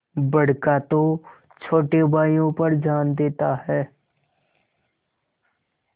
बड़का तो छोटे भाइयों पर जान देता हैं